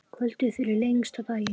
Kvöldið fyrir lengsta daginn.